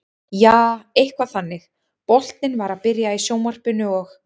Jaa, eitthvað þannig, boltinn var að byrja í sjónvarpinu og.